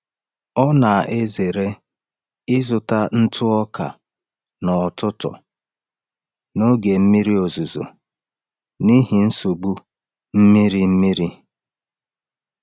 Ọ na-ezere ịzụta ntụ ọka n’ọtụtù n’oge mmiri ozuzo n’ihi nsogbu mmiri mmiri.